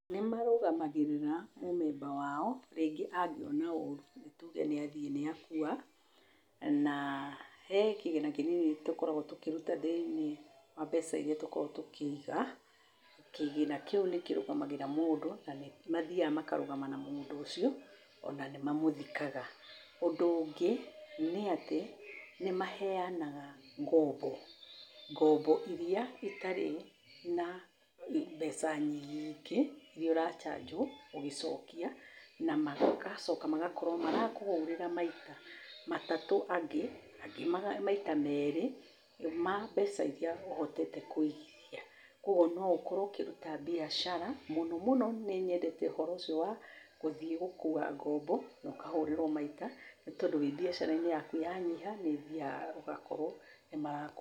Nĩmarũgamagĩrĩra mũmemba wao, rĩngĩ angĩona oru, nĩ tuge nĩ athiĩ nĩ akua, na he kĩgĩna kĩnini tũkoragwo tũkĩruta thĩ-inĩ wa mbeca iria tũkoragwo tũkĩiga, kĩgĩna kĩu nĩ kĩrũgamagĩrĩra mũndũ, na nĩmathiaga makarũgama na mũndũ ũcio, ona nĩ mamũthikaga. ũndũ ũngĩ nĩ atĩ nĩ maheanaga ngombo, ngombo iria itarĩ na mbeca nyingĩ iria ũrachajwo ũgĩcokia, na magacoka magakorwo marakũhũrĩra maita matatũ angĩ, angĩ maita merĩ ma mbeca iria ũhotete kũigithia, koguo no ũkorwo ũkĩruta biacara, mũno mũno nĩ nyendete ũhoro ũcio wa gũthiĩ gũkua ngombo na ũkahũrĩrwo maita, nĩ tondũ wĩ biacara-inĩ yaku yanyiha, nĩ ũthiaga ũgakorwo nĩmarakũ